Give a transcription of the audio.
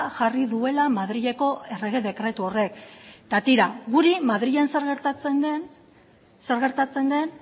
jarri duela madrileko errege dekretu horrek eta tira guri madrilen zer gertatzen den zer gertatzen den